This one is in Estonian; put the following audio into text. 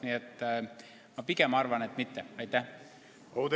Nii et ma pigem arvan, et see poleks olnud õige tee.